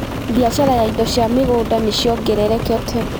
Biacara ya indo cia mĩgũnda ni ciongererekete.